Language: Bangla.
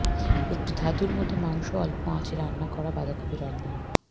একটি ধাতুর মধ্যে মাংস অল্প আঁচে রান্না করা বাঁধাকপি রন্ধন